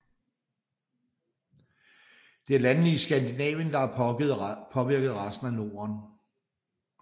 Det er landene i Skandinavien der har påvirket resten af Norden